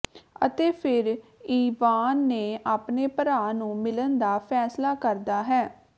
ਅਤੇ ਫਿਰ ਇਵਾਨ ਨੇ ਆਪਣੇ ਭਰਾ ਨੂੰ ਮਿਲਣ ਦਾ ਫੈਸਲਾ ਕਰਦਾ ਹੈ